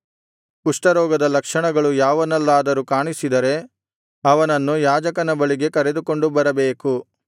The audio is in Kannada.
ಕುಷ್ಠರೋಗದ ಲಕ್ಷಣಗಳು ಯಾವನಲ್ಲಾದರೂ ಕಾಣಿಸಿದರೆ ಅವನನ್ನು ಯಾಜಕನ ಬಳಿಗೆ ಕರೆದುಕೊಂಡು ಬರಬೇಕು